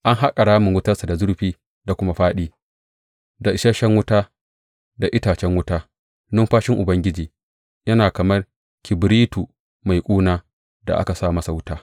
An haƙa ramin wutarsa da zurfi da kuma fāɗi, da isashen wuta da itacen wuta; numfashin Ubangiji, yana kamar kibiritu mai ƙuna, da aka sa masa wuta.